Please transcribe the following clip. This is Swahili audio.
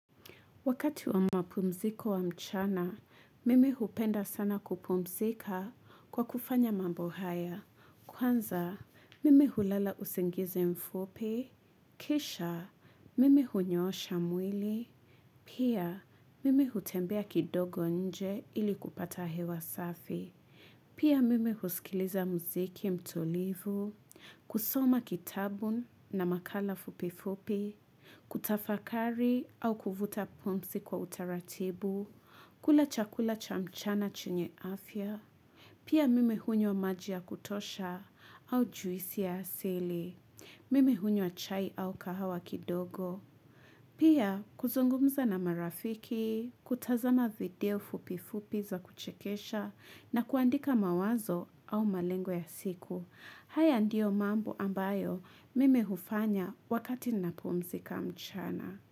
Wakati wa mapumziko wa mchana, mimi hupenda sana kupumzika kwa kufanya mambo haya. Kwanza, mimi hulala usingize mfupi. Kisha, mimi hunyoosha mwili. Pia, mimi hutembea kidogo nje ili kupata hewa safi. Pia, mimi husikiliza muziki mtulivu. Kusoma kitabu na makala fupifupi. Kutafakari au kuvuta pumzi kwa utaratibu kula chakula cha mchana chenye afya. Pia mimi hunywa maji ya kutosha au juisi ya asili. Mimi hunywa chai au kahawa kidogo. Pia kuzungumza na marafiki kutazama video fupi fupi za kuchekesha na kuandika mawazo au malengo ya siku. Haya ndio mambo ambayo mimi hufanya wakati napumzika mchana.